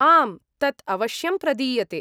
आम्, तत् अवश्यं प्रदीयते।